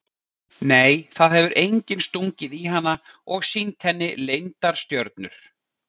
Nei það hefur enginn stungið í hana og sýnt henni leyndar stjörnur.